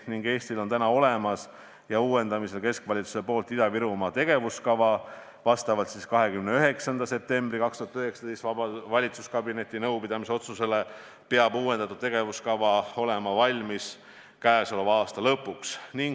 Eesti keskvalitsusel on täna olemas ja uuendamisel Ida-Virumaa tegevuskava, vastavalt 29. septembril 2019 valitsuskabineti nõupidamisel tehtud otsusele peab uuendatud tegevuskava olema valmis käesoleva aasta lõpuks.